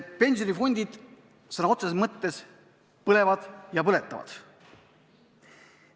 Pensionifondid sõna otseses mõttes põlevad ja põletavad.